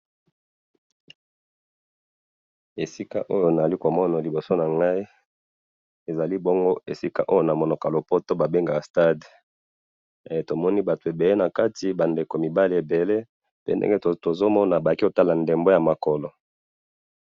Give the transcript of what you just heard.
esika oyo nalikomona libosonangayi ezalibongo namonoko ya lopoto babengaka stade e tomoni batu ebele nakati bandeko mibali ebele tozomona baye komona ndembo yamakolo